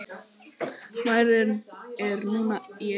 Bærinn er núna í eyði.